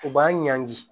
U b'an ɲanki